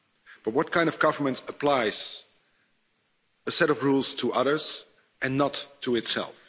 But what kind of government applies a set of rules to others and not to itself?